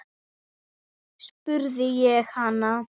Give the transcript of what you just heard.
spurði ég hana.